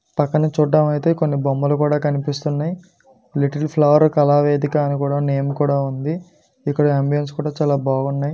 పక్కన చూడడానికి అయితే కొన్ని బొమ్మలు కూడా కనిపిస్తున్నాయి. లిటిల్ ఫ్లవర్ కళావేదిక అని కూడా నేమ్ కూడా ఉంది. ఇక్కడ ఆంబియన్స్ కూడా చాలా బాగున్నాయి.